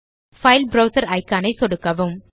file browser icon ஐ சொடுக்கவும்